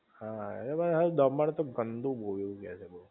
હા ઍટલે દમણ તો ગંદુ બોવ એવું કે છે.